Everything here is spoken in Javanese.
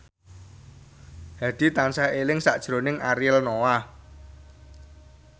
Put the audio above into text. Hadi tansah eling sakjroning Ariel Noah